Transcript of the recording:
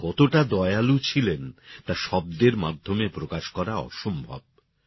তিনি কতটা দয়ালু ছিলেন তা শব্দের মাধ্যমে প্রকাশ করা অসম্ভব